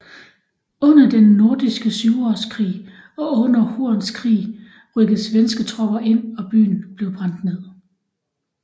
Under den nordiske Syvårskrig og under Horns krig rykkede svenske tropper ind og byen blev brændt ned